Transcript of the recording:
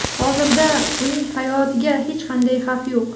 Hozirda uning hayotiga hech qanday xavf yo‘q.